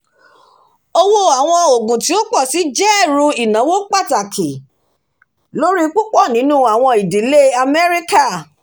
owó àwọn òògùn tí ó pọ̀ sí jẹ́ ẹ̀rù ináwó pàtàkì lórí púpọ̀ nínú àwọn ìdílé amẹrika